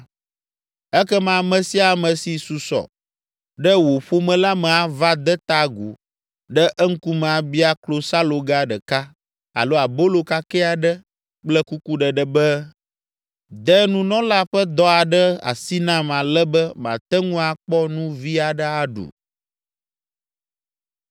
Ekema ame sia ame si susɔ ɖe wò ƒome la me ava de ta agu ɖe eŋkume abia klosaloga ɖeka alo abolo kakɛ aɖe kple kukuɖeɖe be, “De nunɔla ƒe dɔ aɖe asi nam ale be mate ŋu akpɔ nu vi aɖe aɖu.” ’”